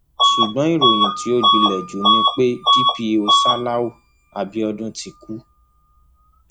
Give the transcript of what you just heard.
ṣùgbọn ìròyìn tó gbilẹ jù ni pé dpó ṣáláú abiodun ti kú